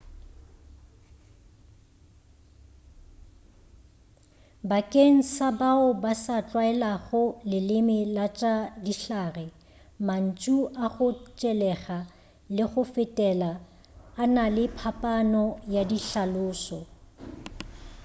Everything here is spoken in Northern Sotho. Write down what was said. bakeng sa bao ba sa tlwaelago leleme la tša dihlare mantšu a go tšelega le go fetela a na le phapano ya dihlaloso